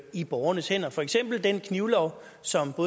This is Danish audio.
i borgernes hænder for eksempel den knivlov som